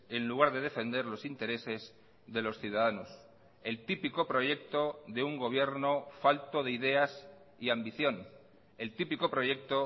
en lugar de defender los intereses de los ciudadanos el típico proyecto de un gobierno falto de ideas y ambición el típico proyecto